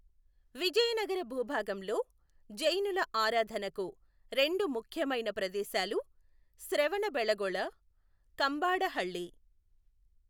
విజయనగర భూభాగంలో జైనుల ఆరాధనకు రెండు ముఖ్యమైన ప్రదేశాలు శ్రవణబెళగొళ, కంబాడహళ్ళి.